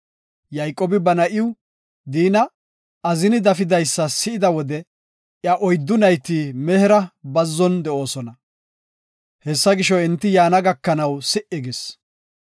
Yayqoobi ba na7iw, Diina, azini dafidaysa si7ida wode iya adde nayti mehera bazzon de7oosona. Hessa gisho, enti yaana gakanaw si77i gis.